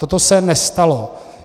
Toto se nestalo.